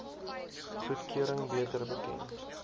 goedkeuring beter bekend